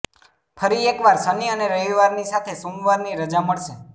ફરી એકવાર શનિ અને રવિવારની સાથે સોમવારની રજા મળશે